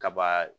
Kaba